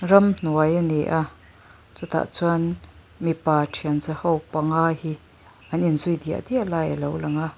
ramhnuai a ni a chutah chuan mipa thian zaho panga hi an inzui diah diah lai a lo lang a.